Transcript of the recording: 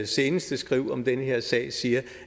seneste skriv om den her sag siger